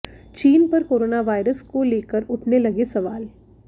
चीन पर corona virus को लेकर उठने लगे सवाल